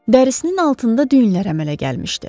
Dərisinin altında düyünlər əmələ gəlmişdi.